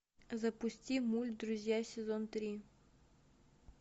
запусти мульт друзья сезон три